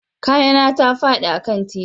Kaya na ta fadi a kan titi